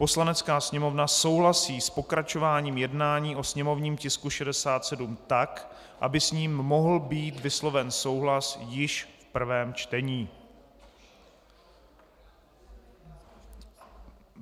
"Poslanecká sněmovna souhlasí s pokračováním jednání o sněmovním tisku 67 tak, aby s ním mohl být vysloven souhlas již v prvém čtení."